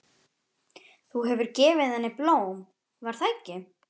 Þú hefur gefið henni blóm, var það ekki?